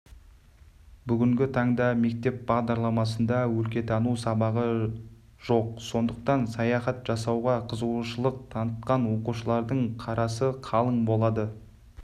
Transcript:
бүгінгі таңда мектеп бағдарламасында өлкетану сабағы жоқ сондықтан саяхат жасауға қызыушылық танытқан оқушылардың қарасы қалың болды